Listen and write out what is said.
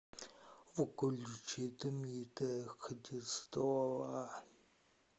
включи дмитрия христова